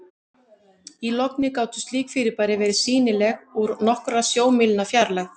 í logni gátu slík fyrirbæri verið sýnileg úr nokkurra sjómílna fjarlægð